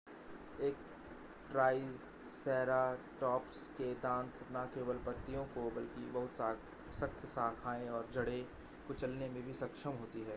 एक ट्राईसेराटॉप्स के दांत ना केवल पत्तियों को बल्कि बहुत सख्त शाखाएं और जड़े कुचलने में भी सक्षम होती थीं